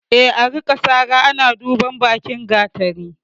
E, a rika sara ana duban bakin gatari.